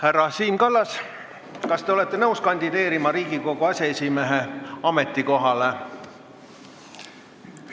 Härra Siim Kallas, kas te olete nõus kandideerima Riigikogu aseesimehe ametikohale?